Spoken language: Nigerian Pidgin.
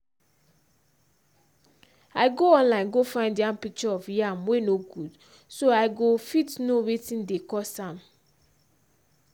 i go online go find yam picture of yam wey no good so go i fit know wetin dey cause am